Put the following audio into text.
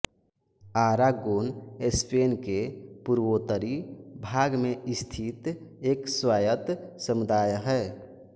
Aragon Spain के पूर्वोत्तरी भाग में स्थित एक स्वायत्त समुदाय है